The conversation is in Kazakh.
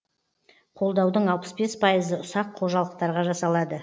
қолдаудың алпыс бес пайызы ұсақ қожалықтарға жасалады